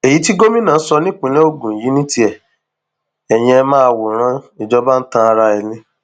èyí tí gómìnà sọ nípìnlẹ ogun yìí ní tiẹ eyín ẹ máa wòran ìjọba ń tan ara ẹ ni